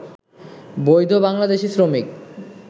বৈধ বাংলাদেশি শ্রমিক